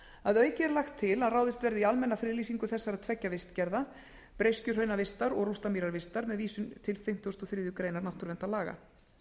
að auki er lagt til að ráðist verði í almenna friðlýsingu þessara tveggja vistgerða breiskjuhraunavistar og rústamýravistar með vísun til fimmtugasta og þriðju grein náttúruverndarlaga nú